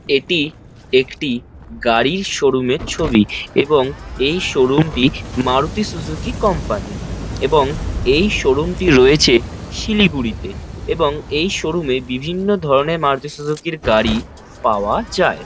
এটি একটি গাড়ির শোরুম -এর ছবি এবং এই শোরুম -টি মারুতি সুজুকি কোম্পানি -র এবং এই -টি রয়েছে শিলিগুড়িতে এবং এই শোরুম -এ বিভিন্ন ধরনের মারুতি সুজুকি -র গাড়ি পাওয়া যায়।